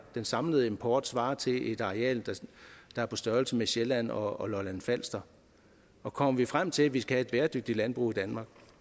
den samlede import svarer til et areal der er på størrelse med sjælland og lolland falster og kommer vi frem til at vi skal have et bæredygtigt landbrug i danmark